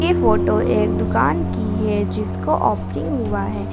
ये फोटो एक दुकान की है जिसको ओपनिंग हुआ है।